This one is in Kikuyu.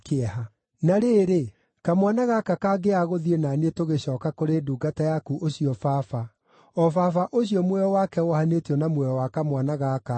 “Na rĩrĩ, kamwana gaka kangĩaga gũthiĩ na niĩ tũgacooka kũrĩ ndungata yaku ũcio baba, o baba ũcio muoyo wake wohanĩtio na muoyo wa kamwana gaka-rĩ,